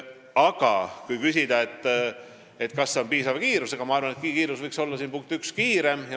Aga kui küsida, kas see on läinud piisava kiirusega, siis ma arvan, et see oleks võinud minna kiiremini.